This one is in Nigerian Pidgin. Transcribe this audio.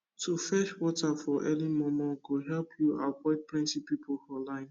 to fetch water for early momo go help u avoid plenty people for line